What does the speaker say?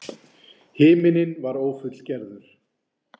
Himinninn var ófullgerður.